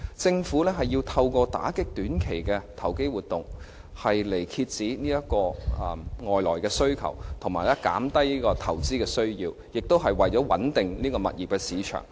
政府要透過打擊短期的投機活動，來遏止外來需求，以及減低投資需要，亦是為了穩定物業市場。